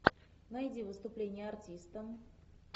найди выступление артиста